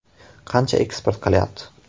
Qancha eksport qilyapti?